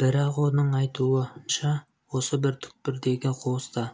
бірақ оның айтуынша осы бір түкпірдегі қуыста